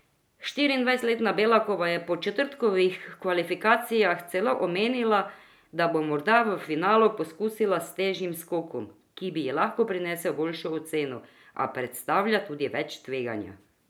Štiriindvajsetletna Belakova je po četrtkovih kvalifikacijah celo omenila, da bo morda v finalu poskusila s težjim skokom, ki bi ji lahko prinesel boljšo oceno, a predstavlja tudi več tveganja.